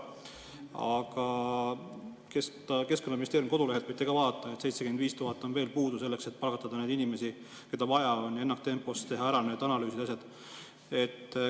Aga Keskkonnaministeeriumi kodulehelt võite vaadata, et 75 000 on veel puudu, et palgata inimesi, keda on vaja selleks, et ennaktempos teha ära need analüüsid ja asjad.